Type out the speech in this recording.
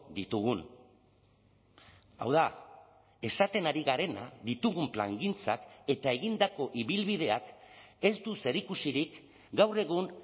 ditugun hau da esaten ari garena ditugun plangintzak eta egindako ibilbideak ez du zerikusirik gaur egun